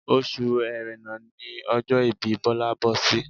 Oṣù ẹrẹ́nà ní ọjọ́ ìbí Bọlá bọ́ sí